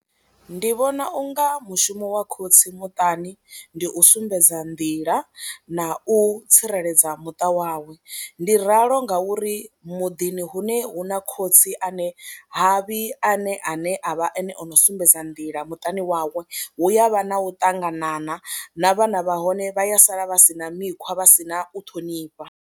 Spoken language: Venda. Ndi vhona u nga mushumo wa khotsi muṱani ndi u sumbedza nḓila na u tsireledza muṱa wawe, ndi ralo ngauri muḓini hune hu na khotsi ane ha vhi ane ane a vha ane o no sumbedza nḓila muṱani wawe hu ya vha na u ṱanganana na vhana vha hone vha ya sala vha si na mikhwa, vha si na u ṱhonifha.